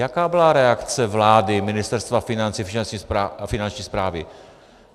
Jaká byla reakce vlády, Ministerstva financí a Finanční správy?